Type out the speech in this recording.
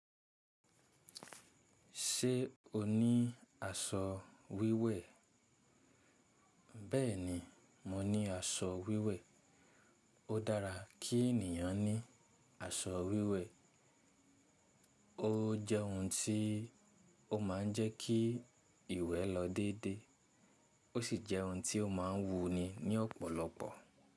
Ṣé o ní aṣọ wíwẹ̀? Bẹ́ẹ̀ni, mo ní aṣọ wíwẹ̀. Ó dára kí ènìyàn ní aṣọ wíwẹ̀. Ó jẹ́ ohun tí ó máa ń jẹ́ kí ìwé lọ dédé, ó sì jẹ́ ohun tí ó máa ń wuni ní ọ̀pọ̀lọpọ̀.